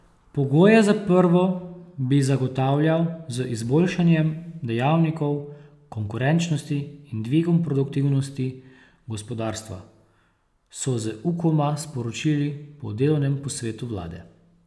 Pogoje za prvo bi zagotavljal z izboljšanjem dejavnikov konkurenčnosti in dvigom produktivnosti gospodarstva, so z Ukoma sporočili po delovnem posvetu vlade.